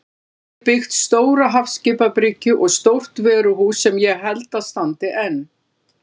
Hann hafði byggt stóra hafskipabryggju og stórt vöruhús sem ég held að standi enn.